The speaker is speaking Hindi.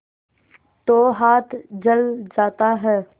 तो हाथ जल जाता है